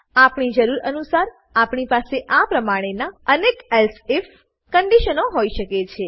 આપણી જરૂર અનુસાર આપણી પાસે આ પ્રમાણેનાં અનેક એલ્સિફ કંડીશનો હોઈ શકે છે